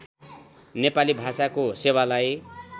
नेपाली भाषाको सेवालाई